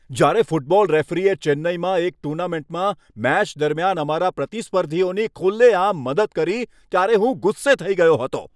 જ્યારે ફૂટબોલ રેફરીએ ચેન્નાઈમાં એક ટૂર્નામેન્ટમાં મેચ દરમિયાન અમારા પ્રતિસ્પર્ધીઓની ખુલ્લેઆમ મદદ કરી ત્યારે હું ગુસ્સે થઈ ગયો હતો.